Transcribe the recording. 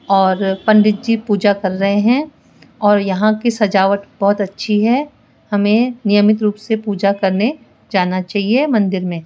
और पंडित जी पूजा कर रहे हैं और यहां की सजावट बहोत अच्छी है हमें नियमित रूप से पूजा करने जाना चाहिए मंदिर में।